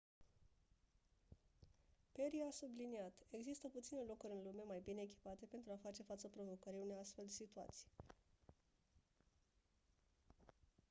perry a subliniat: «există puține locuri în lume mai bine echipate pentru a face față provocării unei astfel de situații».